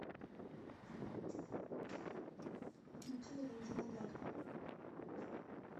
включи валентина дядьку